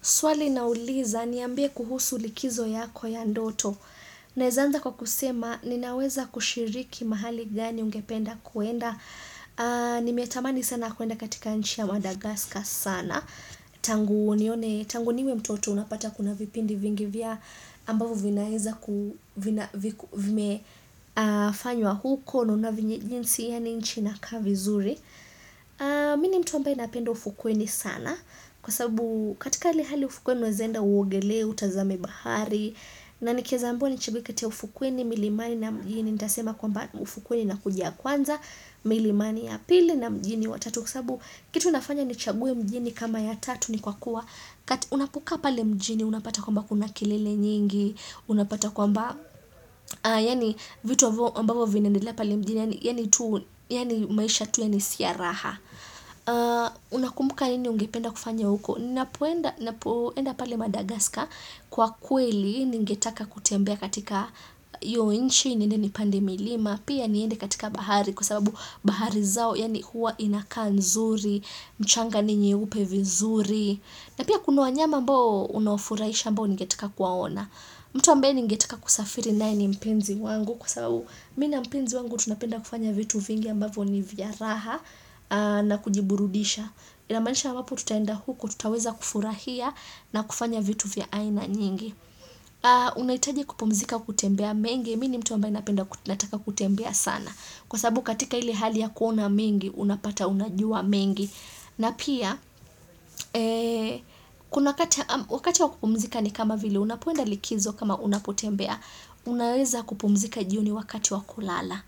Swali nauliza niambie kuhusu likizo yako ya ndoto. Naeza anza kwa kusema ninaweza kushiriki mahali gani ungependa kuenda. Nimetamani sana kuenda katika nchi ya Madagaskas sana. Tangu nione niwe mtoto unapata kuna vipindi vingi vya ambavyo vinaeza kuna vimefanywa huko. Naona venye jinsi yani nchi inakaa vizuri. Mi ni mtu ambaye napenda ufukweni sana. Kwa sabu katika hali hali ufukwe unaezaenda uogele, utazame bahari. Na nikieza ambiwa ni chague kati ya ufukweni milimani na mjini nitasema kwamba ufukweni inakuja kwanza, milimani ya pili na mjini wa tatu kwasababu kitu inafanya ni chague mjini kama ya tatu ni kwa kuwa Unapokaa pale mjini, unapata kwamba kuna kilele nyingi Unapata kwamba, yani vitu ambavyo vinaendela pale mjini Yani tu, yani maisha tu yani siya raha Unakumbuka nini ungependa kufanya huko napoenda napoeenda pale Madagaska Kwa kweli ningetaka kutembea katika iyo nchi niende nipande milima. Pia niende katika bahari Kwa sababu bahari zao yani huwa inakaa nzuri. Mchanga ni nyeupe vizuri. Na pia kuna wanyama ambao Unaofurahisha ambao ningetaka kuwaona mtu ambaye ningetaka kusafiri naye ni mpenzi wangu Kwa sababu, mi na mpenzi wangu tunapenda kufanya vitu vingi ambavo ni vya raha na kujiburudisha. Inamaanisha iwapotutaenda huko tutaweza kufurahia na kufanya vitu vya aina nyingi unaitaji kupumzika kutembea mengi mi ni mtu ambaye napenda nataka kutembea sana, kwa sababu katika ile hali ya kuona mengi unapata unajua mengi na pia kuna wakati wakati wakupumzika ni kama vile unapoenda likizo kama unapotembea unaweza kupumzika jioni wakati wakulala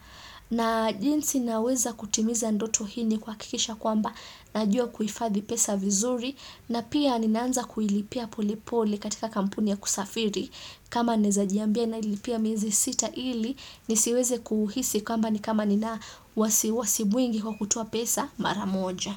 na jinsi naweza kutimiza ndoto hii ni kuhakikisha kwamba najua kuifadhi pesa vizuri na pia ninaanza kuilipia polepole katika kampuni ya kusafiri kama naeza jiambia nailipia miezi sita ili nisiweze kuhisi kwamba ni kama nina wasiwasi mwingi kwa kutoa pesa mara moja.